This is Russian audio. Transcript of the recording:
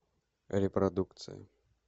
репродукция